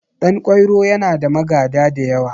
Ɗan kwairo yana da magada da yawa